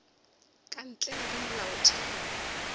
ka ntle le ge molaotheo